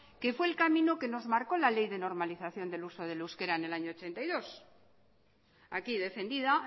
que fue el camino que nos marcóo la ley de normalización del uso del euskera en el año mil novecientos ochenta y dos aquí defendida